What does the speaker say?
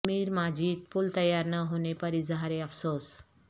امیر ماجد پل تیار نہ ہونے پر اظہار افسوس